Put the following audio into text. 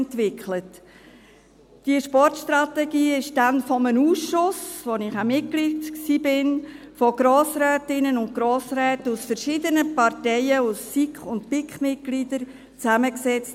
Diese Sportstrategie wurde dann von einem Ausschuss, in dem ich auch Mitglied war, von Grossrätinnen und Grossräten aus verschiedenen Parteien, SiK- und BiKMitgliedern, zusammengesetzt.